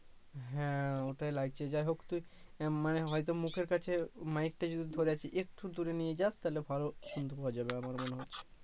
হ্যা ওটাই লাগছে যাইহোক তুই আহ মানে হয়তো মুখের কাছে মাইক টা যদি ধরে আছিস একটু দূরে নিয়ে যাস তাহলে ভালো শুনতে পাওয়া যাবে আমার মনে হয়